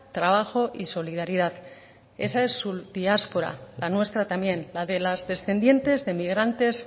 trabajo y solidaridad esa es su diáspora la nuestra también la de las descendientes de migrantes